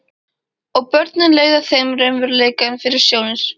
Og börnin leiða þeim raunveruleikann fyrir sjónir.